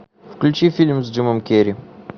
включи фильм с джимом керри